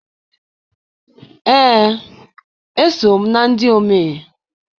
Ee, eso m na ndị omee.